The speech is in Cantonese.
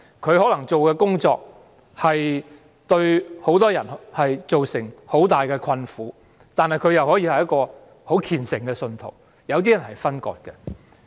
例如，他的工作職責可能會對很多人造成極大困苦，但他同時亦是虔誠的信徒。